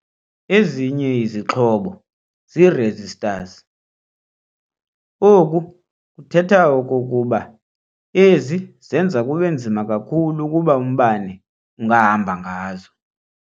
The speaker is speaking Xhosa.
Ezinye izixhobo zii-"resistors". oku kuthetha okokuba ezi zenza kubenzima kakhulu ukuba umbane ungahamba ngazo.